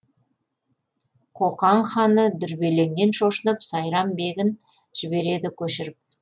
қоқан ханы дүрбелеңнен шошынып сайрам бегін жібереді көшіріп